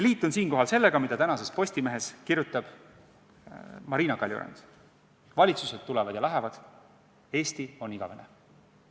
Liitun siinkohal sellega, mida tänases Postimehes kirjutab Marina Kaljurand: valitsused tulevad ja lähevad, Eesti on igavene.